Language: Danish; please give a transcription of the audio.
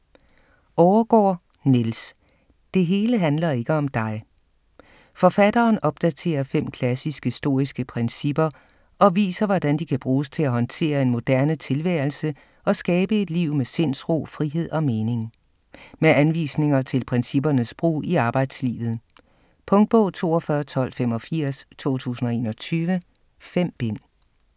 Overgaard, Niels: Det hele handler ikke om dig Forfatteren opdaterer fem klassiske, stoiske principper og viser, hvordan de kan bruges til at håndtere en moderne tilværelse og skabe et liv med sindsro, frihed og mening. Med anvisninger til princippernes brug i arbejdslivet. Punktbog 421285 2021. 5 bind.